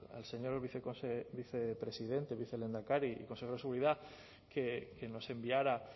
al señor vicepresidente o vicelehendakari y consejero de seguridad que nos enviara